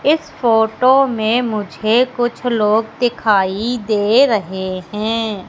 इस फोटो में मुझे कुछ लोग दिखाई दे रहे हैं।